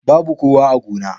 Babu kowa a gona.